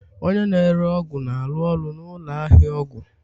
Onye na-ere ọgwụ na-arụ ọrụ na ụlọ ahịa ọgwụ